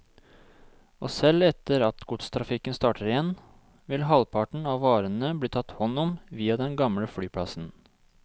Og selv etter at godstrafikken starter igjen, vil halvparten av varene bli tatt hånd om via den gamle flyplassen.